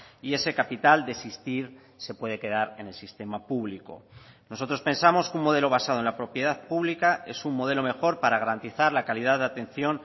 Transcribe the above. y ese capital de existir se puede quedar en el sistema público nosotros pensamos que un modelo basado en la propiedad pública es un modelo mejor para garantizar la calidad de atención